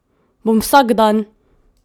Bom vsak dan!